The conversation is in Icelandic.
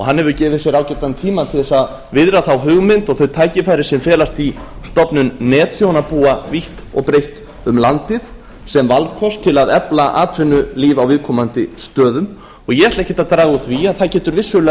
hann hefur gefið sér ágætan tíma til að viðra þá hugmynd og þau tækifæri sem felast í stofnun netþjónabúa vítt og breitt um landið sem valkost til að efla atvinnulíf á viðkomandi stöðum og ég ætla ekkert að draga úr því að það getur vissulega